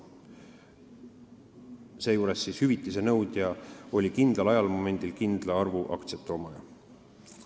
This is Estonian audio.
Seejuures oli hüvitise nõudja kindlal ajamomendil kindla arvu aktsiate omaja.